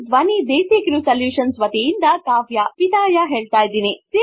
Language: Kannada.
ಹಾಗು ಧ್ವನಿ ದೇಸಿ ಕ್ರೆವ್ ಸೊಲ್ಯುಶನ್ಸ ವತಿಯಿಂದ ವಿದಾಯ ಹೇಳುತ್ತೇನೆ